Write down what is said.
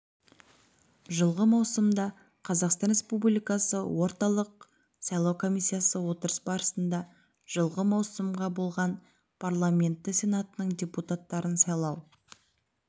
жылғы маусымда қазақстан республикасы орталық сайлау комиссиясы отырыс барысында жылғы маусымға болған парламенті сенатының депутаттарын сайлау